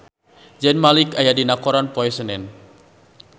Zayn Malik aya dina koran poe Senen